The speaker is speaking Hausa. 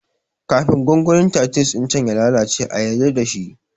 Kifin gongonin titus ɗin can ya lalace a yarda shi